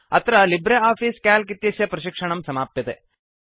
अत्र LibreOffice Calc इत्यस्य प्रशिक्षणं समाप्यते